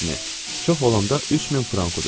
Çox olanda 3000 frank udurdu.